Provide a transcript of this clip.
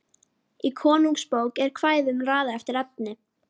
Í Konungsbók er kvæðunum raðað eftir efni.